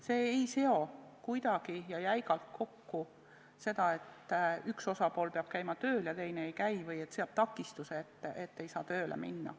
See ei seo neid kuidagi ja jäigalt kokku nii, et üks osapool peab käima tööl ja teine ei käi või on takistus, et ei saa tööle minna.